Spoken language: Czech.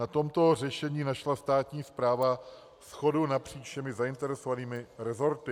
Na tomto řešení našla státní správa shodu napříč všemi zainteresovanými resorty.